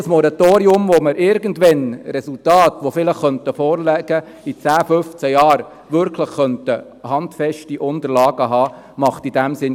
Ein Moratorium macht in diesem Sinn, wenn wir vielleicht irgendwann in 10 oder 15 Jahren Resultate und wirklich handfeste Unterlagen haben könnten, keinen Sinn.